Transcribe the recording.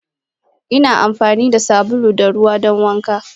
Ina amfani da sabulu da ruwa don wanka.